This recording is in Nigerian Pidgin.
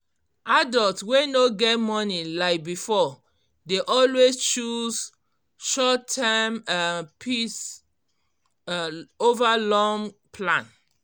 adult wey no get money like before dey always choose short term um peace um over long plan um